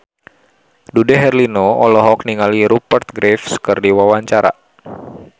Dude Herlino olohok ningali Rupert Graves keur diwawancara